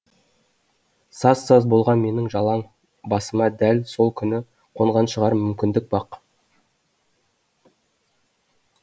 саз саз болған менің жалаң басыма дәл сол күні қонған шығар мүмкіндік